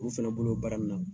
U fana bolo baara min na.